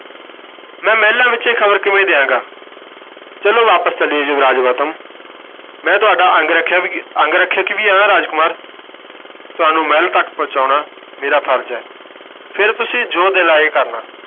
ਮੈਂ ਮਹਿਲਾਂ ਵਿੱਚ ਇਹ ਖ਼ਬਰ ਕਿਵੇਂ ਦੇਵਾਂਗਾ, ਚੱਲੋ ਵਾਪਸ ਚੱਲੀਏ ਯੁਵਰਾਜ ਗੌਤਮ ਮੈਂ ਤੁਹਾਡਾ ਅੰਗਰੱਖਿਆ ਵੀ ਅੰਗਰੱਖਿਅਕ ਵੀ ਹਾਂ ਰਾਜਕੁਮਾਰ ਤੁਹਾਨੂੰ ਮਹਿਲ ਤੱਕ ਪਹੁੰਚਾਉਣਾ ਮੇਰਾ ਫ਼ਰਜ਼ ਹੈ ਫਿਰ ਤੁਸੀਂ ਜੋ ਦਿਲ ਆਏ ਕਰਨਾ।